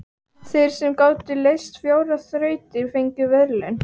Þeir sem gátu leyst fjórar þrautir fengu verðlaun.